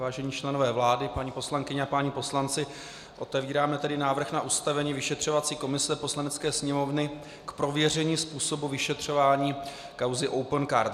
Vážení členové vlády, paní poslankyně a páni poslanci, otevíráme tedy návrh na ustavení vyšetřovací komise Poslanecké sněmovny k prověření způsobu vyšetřování kauzy Opencard.